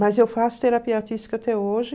Mas eu faço terapia artística até hoje.